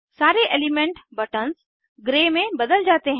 सारे element buttons grey में बदल जाते हैं